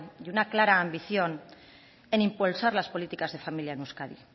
y una clara ambición en impulsar las políticas de familia en euskadi